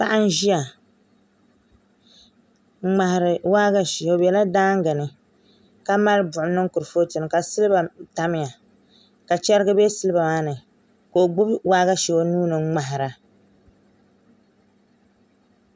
Paɣa n ʒiya n ŋmahari waagashe o bɛla daangi ni ka mali buɣum niŋ kuripooti ni ka silba tamya ka chɛrigi bɛ silba maa ni ka o gbubi waagashe o nuuni n ŋmahara